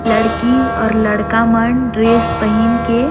लड़की और लड़का मन ड्रेस पहिन के --